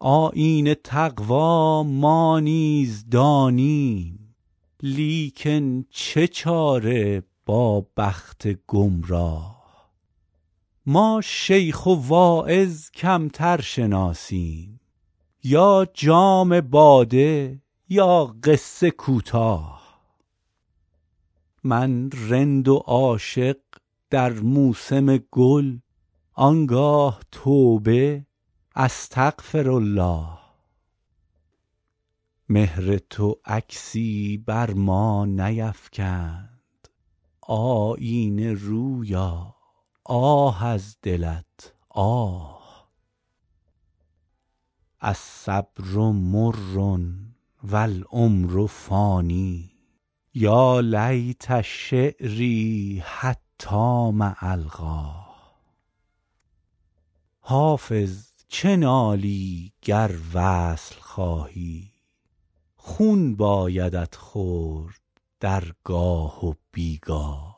آیین تقوا ما نیز دانیم لیکن چه چاره با بخت گمراه ما شیخ و واعظ کمتر شناسیم یا جام باده یا قصه کوتاه من رند و عاشق در موسم گل آن گاه توبه استغفرالله مهر تو عکسی بر ما نیفکند آیینه رویا آه از دلت آه الصبر مر و العمر فان یا لیت شعري حتام ألقاه حافظ چه نالی گر وصل خواهی خون بایدت خورد در گاه و بی گاه